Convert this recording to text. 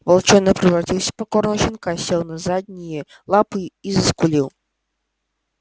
волчонок превратился в покорного щенка сел на задние лапы и заскулил